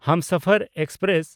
Humsafar express